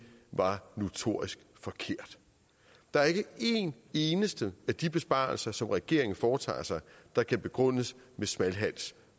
var notorisk forkert der er ikke én eneste af de besparelser som regeringen foretager der kan begrundes med smalhals